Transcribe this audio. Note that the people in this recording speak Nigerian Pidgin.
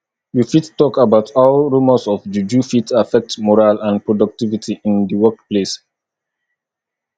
you fit talk about how rumors of juju fit affect morale and productivity in di workplace